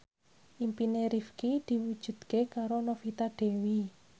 impine Rifqi diwujudke karo Novita Dewi